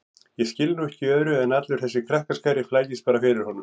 Ég skil nú ekki í öðru en allur þessi krakkaskari flækist bara fyrir honum